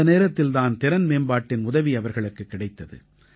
அந்த நேரத்தில் தான் திறன்மேம்பாட்டின் உதவி அவர்களுக்குக் கிடைத்தது